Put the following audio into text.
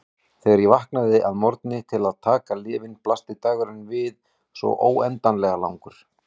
Þegar ég vaknaði að morgni til að taka lyfin blasti dagurinn við svo óendanlega langur.